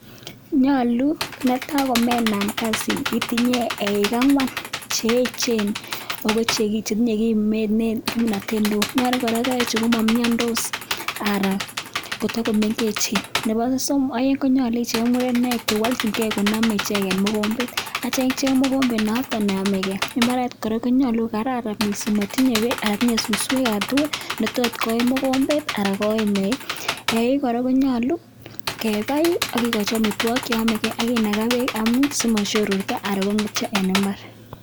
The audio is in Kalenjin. Nyolu, netai komenan kasini itinye eik ang'wan cheyechen ako chetinye kimnotet neo ako kora ko eik chu komomyondos anan kotokomengechen, nebo somok konyolu icheng' murenik chewolchingei konome icheket mogombet aitya icheng' mokombet neomege, mbaret kora konyolu kokararan, motinye beek anan ko suswek alaktugul chetot koim mogombet anan koim eik, eik kora konyolu kebai akikochi amitwogik cheomegei akinaga beek simosyororso anan kong'etyo en mbaar.